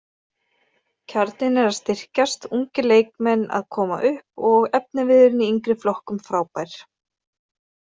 Kjarninn er að styrkjast, ungir leikmenn að koma upp og efniviðurinn í yngri flokkum frábær.